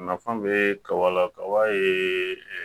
Nafa bɛ kaba la kaba ye